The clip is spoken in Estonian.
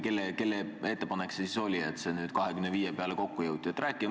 Kelle ettepanek see siis oli, et nüüd 25% peale kokku lepiti.